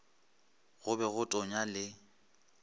go be go tonya le